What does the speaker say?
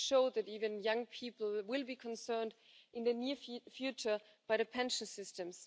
It showed that even young people will be concerned in the near future by the pension systems.